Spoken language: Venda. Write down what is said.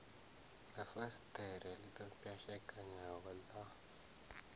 ha fasiṱere ḓo pwashekanaho ḽa